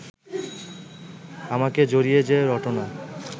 আমাকে জড়িয়ে যে রটনা